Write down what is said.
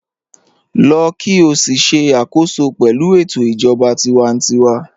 Lọ́ kí o sì ṣẹ̀ àkòsọ pẹ̀lú ètò ijọba tìwántíwà